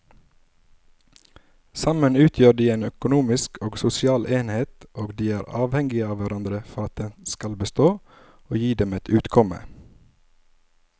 Sammen utgjør de en økonomisk og sosial enhet og de er avhengige av hverandre for at den skal bestå og gi dem et utkomme.